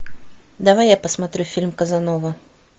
давай я посмотрю фильм казанова